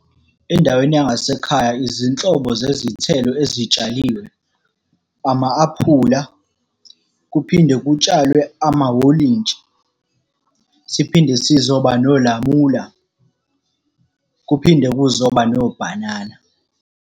Endaweni yangasekhaya izinhlobo zezithelo ezitshaliwe, ama-aphula, kuphinde kutshalwe amawolintshi. Siphinde sizoba nolamula, kuphinde kuzoba nobhanana.